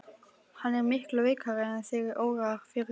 Hann er miklu veikari en þig órar fyrir.